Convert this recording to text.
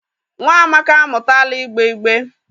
Nwa Amaka amutala igbe igbe.